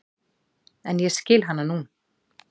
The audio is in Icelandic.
En ég skil hana nú.